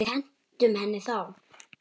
En við hentum henni þá.